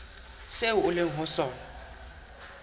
seo o leng ho sona